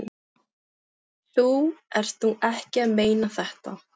Þú ert nú ekki að meina þetta!